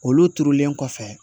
Olu turulen kɔfɛ